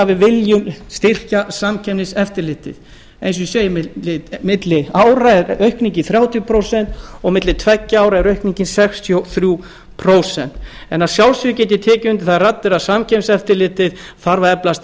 við viljum styrkja samkeppniseftirlitið eins og ég segi milli ára er aukningin þrjátíu prósent og milli tveggja ára er aukningin sextíu og þrjú prósent að sjálfsögðu get ég tekið undir þær raddir að samkeppniseftirlitið þarf að eflast